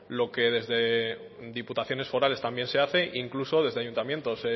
lo que desde diputaciones forales también se hace incluso desde ayuntamientos